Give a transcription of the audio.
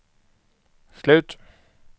slut